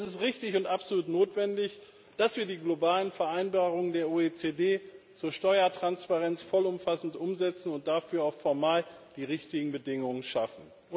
Und es ist richtig und absolut notwendig, dass wir die globalen Vereinbarungen der OECD zur Steuertransparenz vollumfassend umsetzen und dafür auch formal die richtigen Bedingungen schaffen.